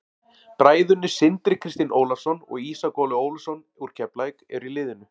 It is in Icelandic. Bræðurnir Sindri Kristinn Ólafsson og Ísak Óli Ólafsson úr Keflavík eru í liðinu.